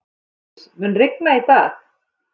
Hugdís, mun rigna í dag?